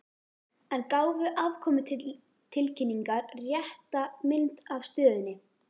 En gáfu afkomutilkynningar rétta mynd af stöðunni?